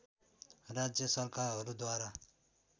राज्य सरकारहरूद्वारा